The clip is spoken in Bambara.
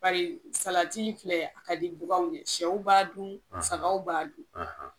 Bari salati filɛ a ka di bakanw ye sɛw b'a dun saga b'a dun